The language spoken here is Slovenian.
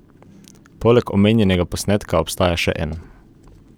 Poleg omenjenega posnetka obstaja še en.